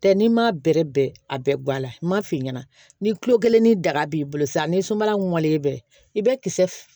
Tɛ n'i m'a bɛrɛ bɛn a bɛɛ gula n'a f'i ɲɛna ni kilo kelen ni daga b'i bolo sisan ni sumalen bɛ i bɛ kisɛ